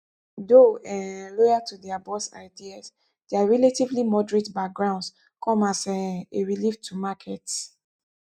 though um loyal to dia boss ideas dia relatively moderate backgrounds come as um a relief to markets